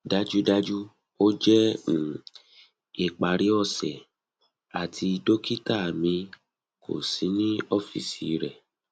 dajudaju o jẹ um ipari ose ati dokita mi ko si ni ọfiisi rẹ